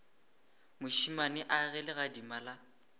mošemane a ge legadima la